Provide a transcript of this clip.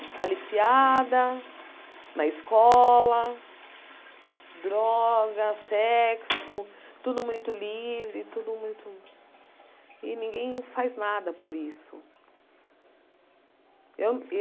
Aliciada, na escola, droga, sexo, tudo muito livre, tudo muito... E ninguém faz nada por isso. Eu